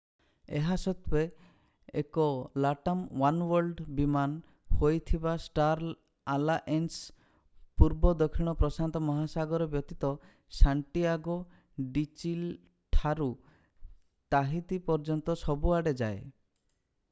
ଏହା ସତ୍ତ୍ୱେ ଏକ latam oneworld ବିମାନ ହୋଇଥିବା ଷ୍ଟାର ଆଲାଏନ୍ସ ପୂର୍ବ ଦକ୍ଷିଣ ପ୍ରଶାନ୍ତ ମହାସାଗର ବ୍ୟତୀତ ସାଣ୍ଟିଆଗୋ ଡି ଚିଲି ଠାରୁ ତାହିତି ପର୍ଯ୍ୟନ୍ତ ସବୁ ଆଡେ ଯାଏ